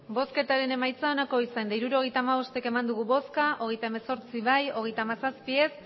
hirurogeita hamabost eman dugu bozka hogeita hemezortzi bai hogeita hamazazpi ez